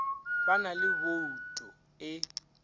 ba na le bouto e